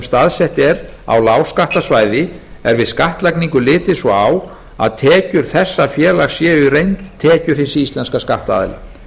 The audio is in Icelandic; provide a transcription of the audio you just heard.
staðsett er á lágskattasvæði er við skattlagningu litið svo á að tekjur þessa félags séu í reynd tekjur hins íslenska skattaðila